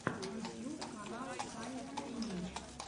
ютьюб канал сани кулинич